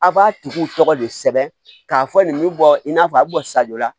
A' b'a tigiw tɔgɔ de sɛbɛn k'a fɔ nin bɛ bɔ in n'a fɔ a bɛ bɔ sa jɔ la